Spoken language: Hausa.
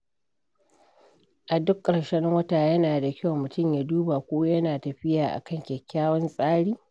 A duk ƙarshen wata, yana da kyau mutum ya duba ko yana tafiya a kan kyakkyawan tsari.